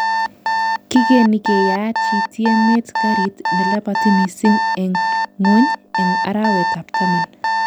Kigeni keyachi tiemet garit nelabati missing eng ngwony Eng arawet ab taman